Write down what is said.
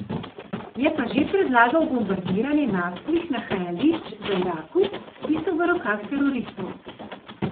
Je pa že predlagal bombardiranje naftnih nahajališč v Iraku, ki so v rokah teroristov.